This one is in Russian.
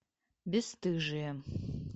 бесстыжие